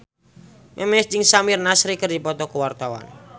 Memes jeung Samir Nasri keur dipoto ku wartawan